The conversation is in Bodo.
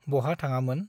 बहा थाङामोन ?